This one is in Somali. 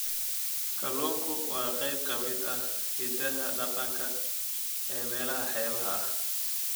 Kalluunku waa qayb ka mid ah hiddaha dhaqanka ee meelaha xeebaha ah.